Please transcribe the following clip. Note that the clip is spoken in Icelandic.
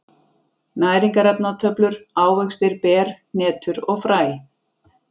Næringarefnatöflur: Ávextir, ber, hnetur og fræ.